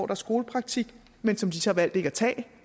er skolepraktik men som de så valgte ikke at tage